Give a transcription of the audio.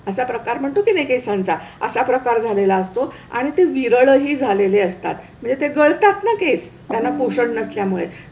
असा प्रकार म्हणतो किनई केसांचा असा प्रकार झालेला असतो आणि ते विरळही झालेले असतात, म्हणजे ते गळतात ना केस, त्यांना पोषण नसल्यामुळे.